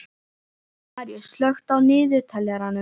Maríus, slökktu á niðurteljaranum.